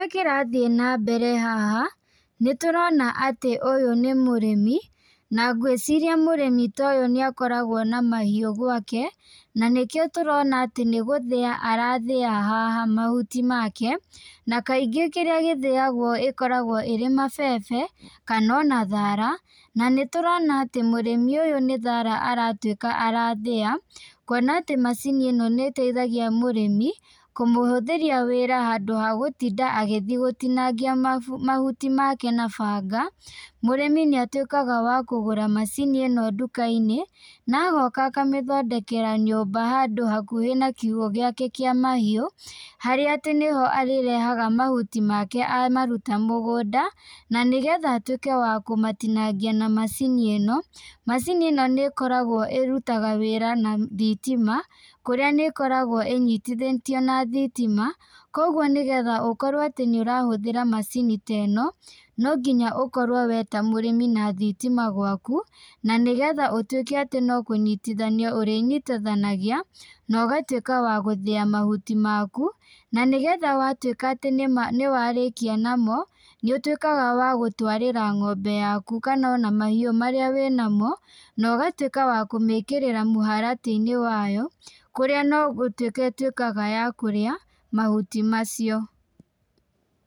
Kĩrĩa kĩrathiĩ na mbere haha , nĩtũrona atĩ ũyũ nĩ mũrĩmi ,na ngwĩciria mũrĩmi ta ũyũ nĩ akoragwo na mahiũ gwake, na nĩkĩo tũrona atĩ nĩgũthĩa arathĩa haha mahuti make, na kaingĩ kĩrĩa gĩthĩagwo gĩkĩkoragwo kĩrĩ mabebe kana ona thara , na nĩtũrona atĩ mũrimu ũyũ nĩ thara aratwĩka arathĩa, kuona atĩ macini ĩno nĩ ĩteithagia mũrĩmi, kũmũhũthĩria wĩra handũ ha gũtinda agĩthiĩ gũtinangia mahuti make na banga, mũrĩmi nĩ atwĩkaga wa kũgũra macini ĩno nduka-inĩ, na agoka agathondekera handũ hakuhĩ na kiugũ gĩake kĩa mahiu, harĩa atĩ nĩho arĩrehaga mahuti make amaruta mũgũnda , na nĩgetha atwĩke wa kũmatinangia na macini ĩno, macini ĩno nĩ ĩkoragwo irutaga wĩra na thitima, kũrĩa nĩ ĩkoragwo ĩnyitithĩtio na thitima, kũgwo nĩgetha ũkorwo nĩ ũrahũthĩra macini ta ĩno, no nginya ũkorwo we wĩta mũrĩmi wĩna thitima gwaku, na nĩgetha ũtwĩke no kũnyitithania ũrĩnyitithanagia, na ũgatwĩka wa gũthĩa mahuti maku, na nĩgetha rĩrĩa watwĩka nĩwarĩkia namo, nĩ ũtwĩkaga wa gũtwarĩra ngombe yaku kana ona mahiũ marĩa wĩna namo, na ũgatwĩka wa kũmĩkĩrĩra mũharatĩ-inĩ wao, kũrĩa no gũtwĩka ĩtwĩkaga ya kũrĩa mahuti macio.